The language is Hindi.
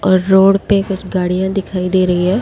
और रोड पे कुछ गाड़ियां दिखाई दे रही है।